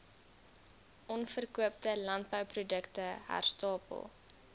onverkoopte landbouprodukte herstapel